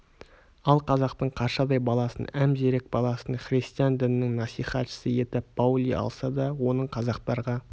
ал қазақтың қаршадай баласын әм зерек баласын христиан дінінің насихатшысы етіп баули алса онда оның қазақтарға